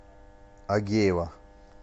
агеева